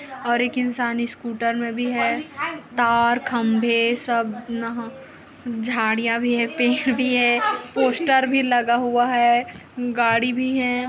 और एक इंसान स्कूटर में भी है। तार खंबे सब यहाँ झाड़ियां भी है पेड़ भी है पोस्टर भी लगा हुआ है गाड़ी भी है।